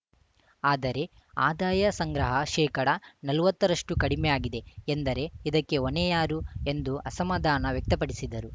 ಆದರೆ ಆದಾಯ ಸಂಗ್ರಹ ಶೇಕಡ ನಲ್ವತ್ತರಷ್ಟುಕಡಿಮೆ ಆಗಿದೆ ಎಂದರೆ ಇದಕ್ಕೆ ಹೊಣೆ ಯಾರು ಎಂದು ಅಸಮಾಧಾನ ವ್ಯಕ್ತಪಡಿಸಿದರು